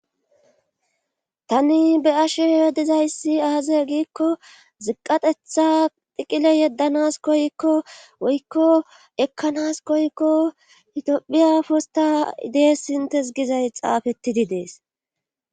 Tani be7ashe dizayssi aaze giikko ziqqa xetha xiqile yeddanas koyikko woykko ekkanas koyikko itophiya postta des inttes gizay xaafetti des.